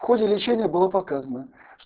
в ходе лечения было показано